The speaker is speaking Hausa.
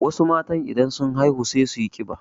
Wasu matan idan sun haihu sai suyi ƙiba.